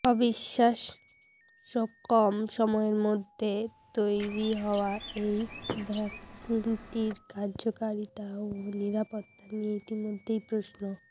অবিশ্বাস্য কম সময়ের মধ্যে তৈরি হওয়া এই ভ্যাকসিনটির কার্যকারিতা ও নিরাপত্তা নিয়ে ইতিমধ্যেই প্রশ্ন